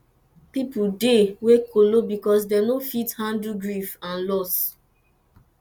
pipo dey wey don kolo because dem no fit handle grief and loss